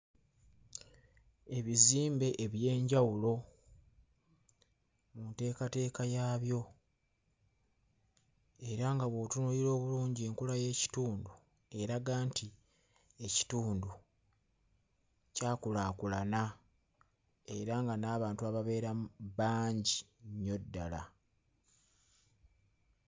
Ebizimbe eby'enjawulo nteekateeka yaabyo era nga bw'otunuulira obulungi enkula y'ekitundu eraga nti ekitundu kyakulaakulana era nga n'abantu ababeeramu bangi nnyo ddala.